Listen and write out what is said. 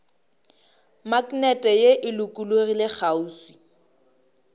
maknete ye e lokologilego kgauswi